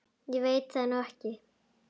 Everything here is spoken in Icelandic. Ég veit það nú ekki.